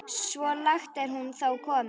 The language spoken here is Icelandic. Svo langt er hún þó komin.